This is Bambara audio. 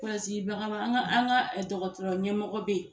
an ka an ka dɔgɔtɔrɔ ɲɛmɔgɔw bɛ ye.